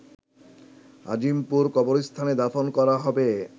আজিমপুর কবরস্থানে দাফন করা হবে